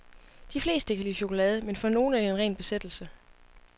De fleste kan lide chokolade, men for nogle er det en ren besættelse.